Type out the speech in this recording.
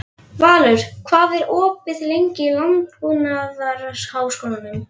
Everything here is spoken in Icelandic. Valur, hvað er opið lengi í Landbúnaðarháskólanum?